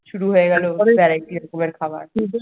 শুরু হয়ে গেল দুপুরের খাবার